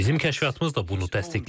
Bizim kəşfiyyatımız da bunu təsdiqləyir.